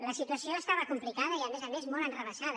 la situació era complicada i a més a més molt enre·vessada